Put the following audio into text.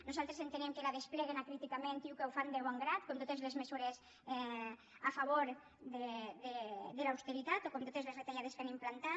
nosaltres entenem que la despleguen acríticament i que ho fan de bon grat com totes les mesures a favor de l’austeritat o com totes les retallades que han implantat